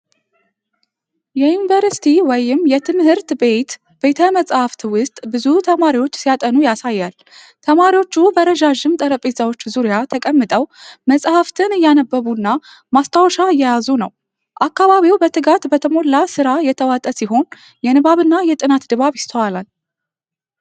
የዩኒቨርሲቲ ወይም የትምህርት ቤት ቤተ-መጽሐፍት ውስጥ ብዙ ተማሪዎች ሲያጠኑ ያሳያል። ተማሪዎቹ በረዣዥም ጠረጴዛዎች ዙሪያ ተቀምጠው መጽሐፍትን እያነበቡና ማስታወሻ እየያዙ ነው። አካባቢው በትጋት በተሞላ ሥራ የተዋጠ ሲሆን የንባብና የጥናት ድባብ ይስተዋላል።